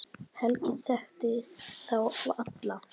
Helgi þekkti þá alla.